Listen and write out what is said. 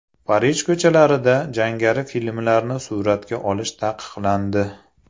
Parij ko‘chalarida jangari filmlarni suratga olish taqiqlandi.